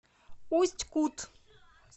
усть кут